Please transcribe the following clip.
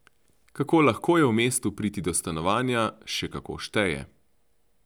Kako lahko je v mestu priti do stanovanja, še kako šteje.